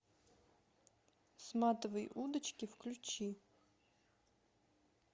сматывай удочки включи